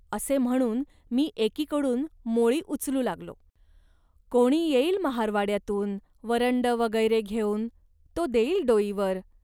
असे म्हणून मी एकीकडून मोळी उचलू लागलो. कोणी येईल महारवाड्यातून वरंड वगैरे घेऊन, तो देईल डोईवर